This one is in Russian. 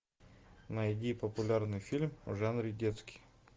найди популярный фильм в жанре детский